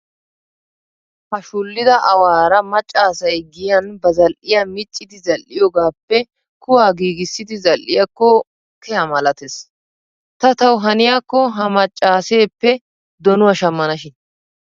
Ha suullida awaara macca asay giyan ba zal'iiyaa miccidi zal'iiyoogaappe kuwaa giigissidi zal'iiyaakko keha malatees. Ta tawu haniyaakko ha maccaaseeppe donuwaa shammana shin.